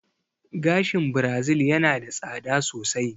Gashin birazil yana da tsada sosai